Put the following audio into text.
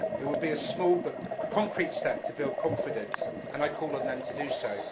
It would be a small but concrete step to build confidence, and I call on them to do so.